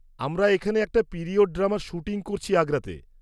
-আমরা এখানে একটা পিরিয়ড ড্রামার শ্যুটিং করছি আগ্রাতে।